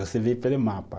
Você vê pelo mapa.